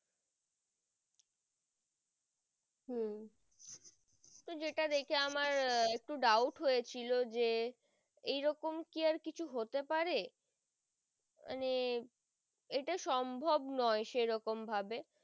তো যেটা দেখে আমার একটু doubt হয়েছিল যে এই রকম কি আর কিছু হতে পারে মানে এটা সম্ভব নয় সেরম ভাবে